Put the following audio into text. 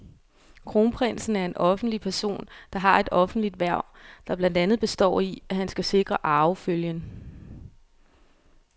Kronprinsen er en offentlig person, der har et offentligt hverv, der blandt andet består i, at han skal sikre arvefølgen.